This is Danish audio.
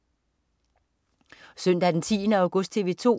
Søndag den 10. august - TV 2: